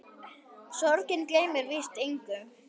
Sorgin gleymir víst engum.